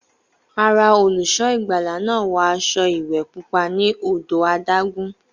Rárá, olùṣọ́ ìgbàlà náà wọ aṣọ ìwẹ̀ pupa ní odò adágún.